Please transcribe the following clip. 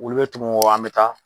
Olu bɛ tɛmɛ wa an bɛ taa.